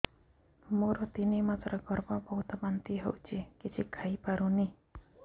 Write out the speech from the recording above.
ମୋର ତିନି ମାସ ଗର୍ଭ ବହୁତ ବାନ୍ତି ହେଉଛି କିଛି ଖାଇ ପାରୁନି